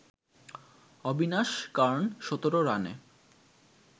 অবিনাশ কার্ন ১৭ রানে